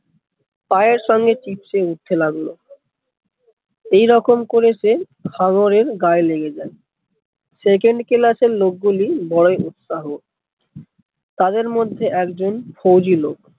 পায়ের সঙ্গে চিপ্সে উঠতে লাগলো এই রকম করে সে হাঙ্গরের গায়ে লেগে যায় second class এর লোক গুলি বড়োই উৎসাহ তাদের মধ্যে একজন ফৌজি লোক